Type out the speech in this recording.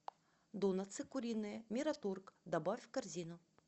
донатсы куриные мираторг добавь в корзину